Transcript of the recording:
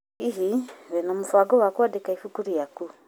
Hihi, wĩna mũbango wa kũandĩka ibuku rĩaku?